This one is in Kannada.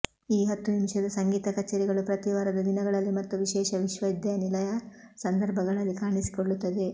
ಈ ಹತ್ತು ನಿಮಿಷದ ಸಂಗೀತ ಕಚೇರಿಗಳು ಪ್ರತಿ ವಾರದ ದಿನಗಳಲ್ಲಿ ಮತ್ತು ವಿಶೇಷ ವಿಶ್ವವಿದ್ಯಾನಿಲಯ ಸಂದರ್ಭಗಳಲ್ಲಿ ಕಾಣಿಸಿಕೊಳ್ಳುತ್ತವೆ